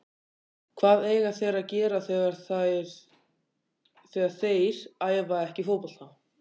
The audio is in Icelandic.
Hvað eiga þeir að gera þegar þeir æfa ekki fótbolta?